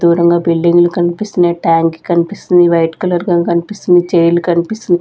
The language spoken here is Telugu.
దూరంగా బిల్డింగ్లు కన్పిస్తున్నాయి ట్యాంకి కన్పిస్తుంది వైట్ కలర్ గాని కన్పిస్తుంది చైర్లు కనిపిస్--